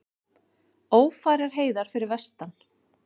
Ófærar heiðar fyrir vestan